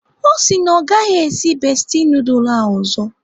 Ọ sị na ọ gaghị esi bestie nudul ahụ ọzọ.